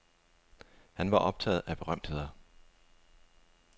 Han var optaget af berømtheder.